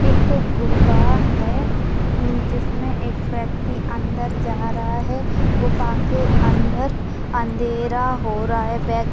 एक गुफा है जिसमें एक व्यक्ति अंदर जा रहा है गुफा के अंदर अंधेरा हो रहा है बैक --